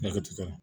Ne ka tikɛ